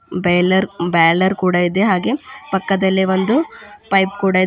Boiler boiler ಕೂಡ ಇದೆ ಹಾಗೆ ಪಕ್ಕದಲ್ಲಿ ಒಂದು ಪೈಪ್ ಕೂಡ ಇದೆ.